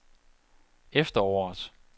efteråret